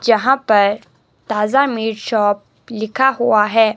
जहां पर ताजा मीट शॉप लिखा हुआ है।